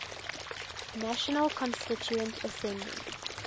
national constituent assembly